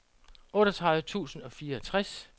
otteogtredive tusind og fireogtres